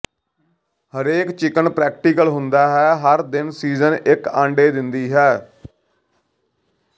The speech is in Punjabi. ਹਰੇਕ ਚਿਕਨ ਪ੍ਰੈਕਟੀਕਲ ਹੁੰਦਾ ਹੈ ਹਰ ਦਿਨ ਸੀਜ਼ਨ ਇੱਕ ਅੰਡੇ ਦਿੰਦੀ ਹੈ